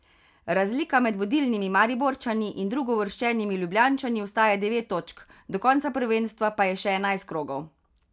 Razlika med vodilnimi Mariborčani in drugouvrščenimi Ljubljančani ostaja devet točk, do konca prvenstva pa je še enajst krogov.